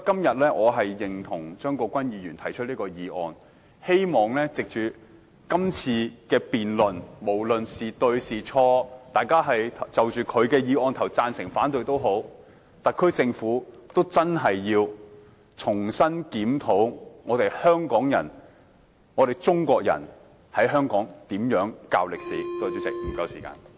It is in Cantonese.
因此，我贊同張國鈞議員提出的議案，希望藉着今次的辯論，無論誰對誰錯，大家贊成或反對張議員的議案都好，特區政府均應重新檢討香港人、中國人在香港怎樣教授歷史。